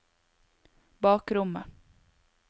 bakrommet